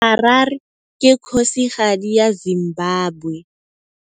Harare ke kgosigadi ya Zimbabwe.